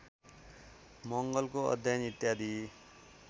मंगलको अध्ययन इत्यादि